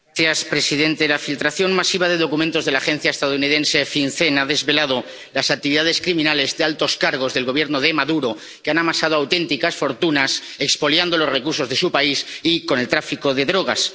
Señora presidente, la filtración masiva de documentos de la agencia estadounidense FinCEN ha desvelado las actividades criminales de altos cargos del Gobierno de Maduro, que han amasado auténticas fortunas expoliando los recursos de su país y con el tráfico de drogas